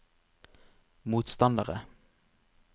motstandere